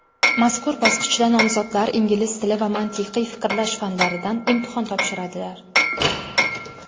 Mazkur bosqichda nomzodlar ingliz tili va mantiqiy fikrlash fanlaridan imtihon topshiradilar.